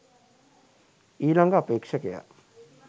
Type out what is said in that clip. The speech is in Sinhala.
ඊළඟ අපේක්ෂකයා